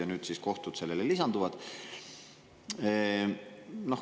Ja nüüd siis lisanduvad sellele kohtud.